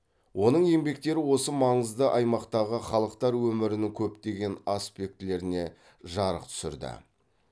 оның еңбектері осы маңызды аймақтағы халықтар өмірінің көптеген аспектілеріне жарық түсірді